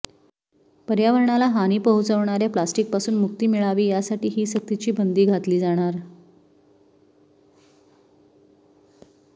पर्यावरणाला हानी पोहचवणार्या प्लास्टिकपासून मुक्ती मिळावी यासाठी ही सक्तीची बंदी घातली जाणार